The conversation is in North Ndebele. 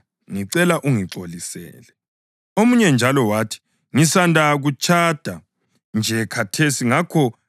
Omunye njalo wathi, ‘Ngisanda kutshada nje khathesi ngakho angingeke ngize.’